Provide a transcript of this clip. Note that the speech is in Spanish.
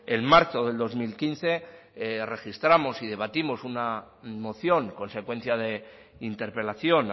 en marzo del dos mil quince registramos y debatimos una moción consecuencia de interpelación